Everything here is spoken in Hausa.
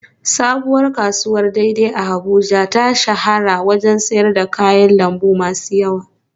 Sabuwar kasuwar dei dei a Abuja ta shahara wajen sayar da kayan lambu masu yawa